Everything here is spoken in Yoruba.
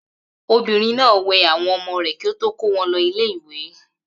Obìnrin náà wẹ àwọn ọmọ rẹ̀ kí ó tó kó wọn ilé-ìwé.